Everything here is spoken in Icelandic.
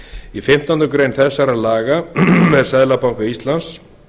í fimmtándu grein þessara laga er seðlabanka íslands